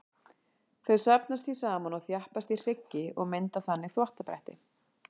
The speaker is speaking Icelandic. Þau safnast því saman og þjappast í hryggi og mynda þannig þvottabretti.